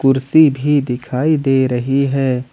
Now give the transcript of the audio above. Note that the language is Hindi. कुर्सी भी दिखाई दे रही है।